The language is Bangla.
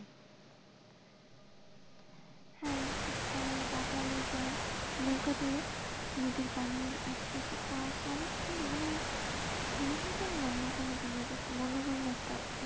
হ্যাঁ শীতকালে বাজারে যায় নৌকা দিয়ে নদীর পানি আসে পাশে কুয়াশা অনেক সুন্দর মানে মনে হয় আমি অন্য কোন দুনিয়াতে আছি মনোরম একটা,